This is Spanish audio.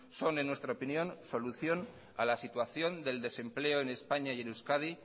son en nuestra opinión solución a la situación del desempleo en españa y en euskadi